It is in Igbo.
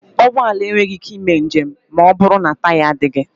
Ụgbọ ala enweghị ike ịme njem ma ọbụrụ na taya adịghị.